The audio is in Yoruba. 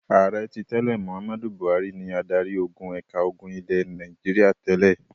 Ààrẹ tí tẹ́lẹ̀ Mohammed Buhari ni adarí-ogun ẹ̀ka ogun ilẹ̀ Nàìjíríà tẹ́lẹ̀.